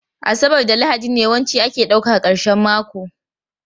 Asabar da Lahadi ne yawanci ake ɗauka karshen mako